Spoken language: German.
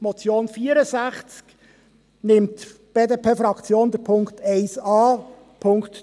Von der Motion zum Traktandum 64 nimmt die BDP-Fraktion die Ziffer 1 an.